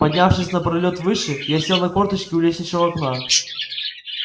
поднявшись на пролёт выше я сел на корточки у лестничного окна